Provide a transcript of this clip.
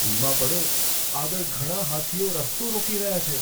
ધીમા પડો. આગળ ઘણા હાથીઓ રસ્તો રોકી રહ્યા છે.